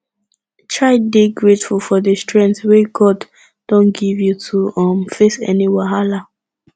try dey grateful for di strength wey god don give you to um face any wahala